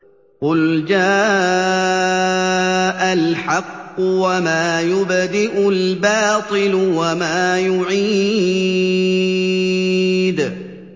قُلْ جَاءَ الْحَقُّ وَمَا يُبْدِئُ الْبَاطِلُ وَمَا يُعِيدُ